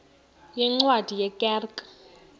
yeencwadi ye kerk